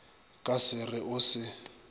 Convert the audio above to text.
ka se re o se